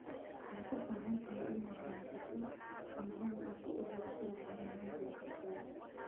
Waxaad u baahan tahay inaad haysato nidaam aad ku ururiso macluumaadka cimilada.